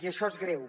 i això és greu